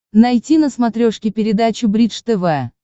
найти на смотрешке передачу бридж тв